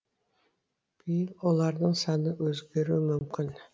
биыл олардың саны өзгеруі мүмкін